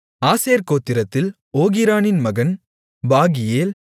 ஆசேர் கோத்திரத்தில் ஓகிரானின் மகன் பாகியேல்